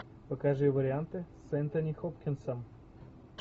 покажи варианты с энтони хопкинсом